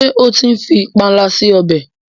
ke o tí ń fí panla sí ọbẹ?